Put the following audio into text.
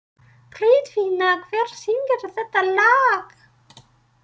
Friðfinna, hver syngur þetta lag?